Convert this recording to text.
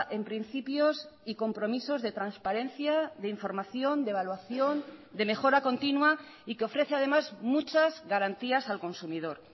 en principios y compromisos de transparencia de información de evaluación de mejora continua y que ofrece además muchas garantías al consumidor